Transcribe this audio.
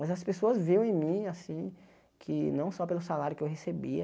Mas as pessoas viam em mim, assim, que não só pelo salário que eu recebia,